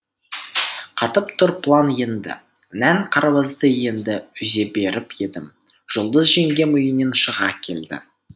қатып тұр план енді нән қарбызды енді үзе беріп едім жұлдыз жеңгем үйінен шыға келді